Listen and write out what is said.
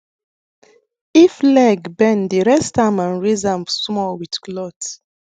if leg bend rest am and raise am small with cloth